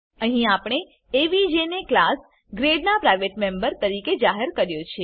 અહીં આપણે એવીજી ને ક્લાસ ગ્રેડ નાં પ્રાઈવેટ મેમ્બર તરીકે જાહેર કર્યો છે